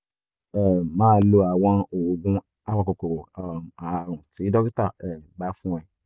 um máa lo àwọn oògùn apakòkòrò um ààrùn tí dókítà um bá fún ẹ